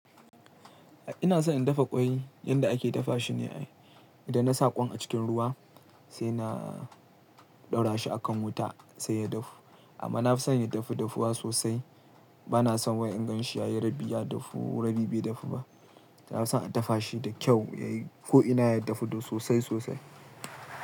Ina son in dafa ƙwai yadda ake dafa shi ne ai, idan na sa ƙwan a cikin ruwa sai na ɗaura shi a kan wuta sai ya dafu. Amma na fi son ya dafu dafuwa sosai. Ba na son wai in gan shi ya yi rabi ya dafu rabi bai dafu ba. Na fi son a dafa shi da kyau ko ina ya dafu sosai- sosai.